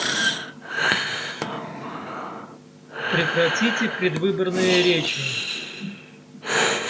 прекратите предвыборные речи